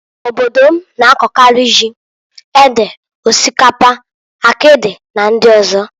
Obodo m na-akọkarị, ji, ede, osikapa, akịdị na ndị ọzọ.